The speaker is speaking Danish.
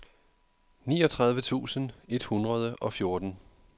niogtredive tusind et hundrede og fjorten